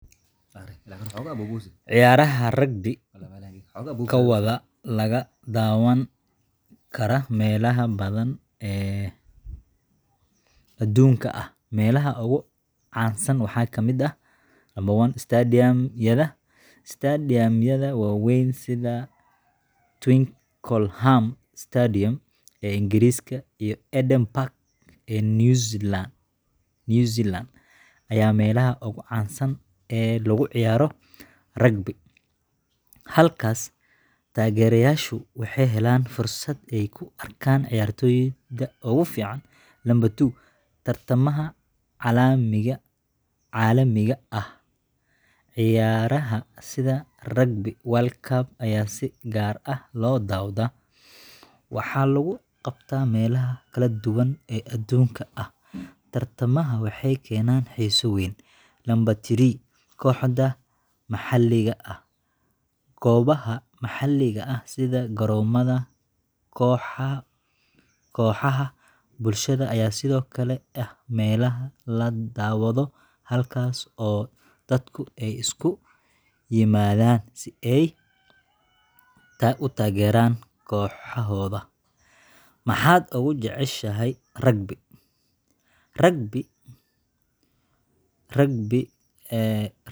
Ciyaaraha rugby-da waxaa laga daawan karaa meelo badan oo adduunka ah. Meelaha ugu caansan waxaa ka mid ah: 1.Stadium-yada Stadium-yada waaweyn sida Twickenham Stadium ee Ingiriiska iyo Eden Park ee New Zealand ayaa ah meelaha ugu caansan ee lagu ciyaaro rugby. Halkaas, taageerayaashu waxay helaan fursad ay ku arkaan ciyaartoyda ugu fiican. 2.Tartamada caalamiga ah Ciyaaraha sida Rugby World Cup ayaa si gaar ah loo daawadaa, waxaana lagu qabtaa meelo kala duwan oo adduunka ah. Tartamadan waxay keenaan xiiso weyn. 3.Kooxda maxalliga ahGoobaha maxalliga ah sida garoomada kooxaha bulshada ayaa sidoo kale ah meelaha la daawado, halkaas oo dadku ay isugu yimaadaan si ay u taageeraan kooxahooda. Maxaad Ugu Jeceshahay Rugby? Rugby-da waxaan u jeclahay dhowr sababood.